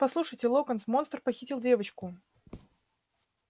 послушайте локонс монстр похитил девочку